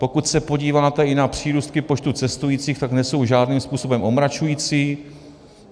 Pokud se podíváte i na přírůstky počtu cestujících, tak nejsou žádným způsobem omračující.